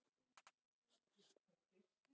Heiða, Gunnar, Bryndís og Svanur.